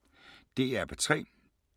DR P3